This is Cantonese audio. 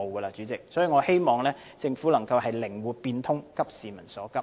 所以，代理主席，我希望政府能夠靈活變通，急市民所急。